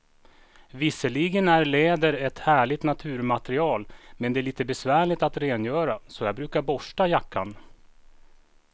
Visserligen är läder ett härligt naturmaterial, men det är lite besvärligt att rengöra, så jag brukar borsta jackan.